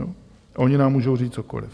A oni nám můžou říct cokoliv.